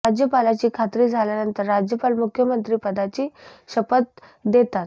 राज्यपालाची खात्री झाल्यानंतर राज्यपाल मुख्यमंत्री पदाची शपथ देतात